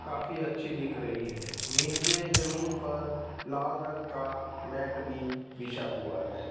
काफी अच्छी दिख रही है नीचे जमीन पर लाल रंग का मैट भी बिछा हुआ है।